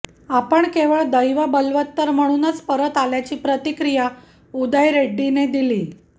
आपण केवळ दैव बलवत्तर म्हणूनच परत आल्याची प्रतिक्रिया उदय रेड्डीने दिली